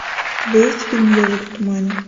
у тебя есть фильм ежик в тумане